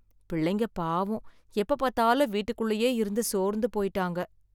பிள்ளைங்க பாவம், எப்ப பார்த்தாலும் வீட்டுக்குள்ளயே இருந்து சோர்ந்து போயிட்டாங்க